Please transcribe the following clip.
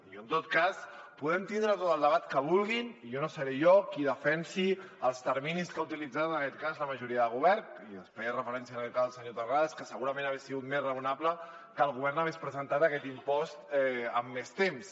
i en tot cas podem tindre tot el debat que vulguin no seré jo qui defensi els terminis que ha utilitzat en aquest cas la majoria de govern i hi feia referència en aquest cas el senyor terrades que segurament hagués sigut més raonable que el govern hagués presentat aquest impost amb més temps